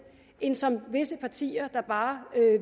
end det som visse partier der bare